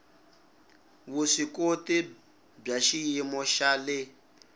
vuswikoti bya xiyimo xa le